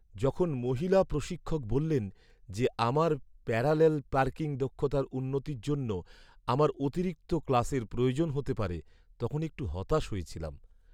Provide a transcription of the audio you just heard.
যখন মহিলা প্রশিক্ষক বললেন যে আমার প্যারালেল পার্কিং দক্ষতার উন্নতির জন্য আমার অতিরিক্ত ক্লাসের প্রয়োজন হতে পারে, তখন একটু হতাশ হয়েছিলাম।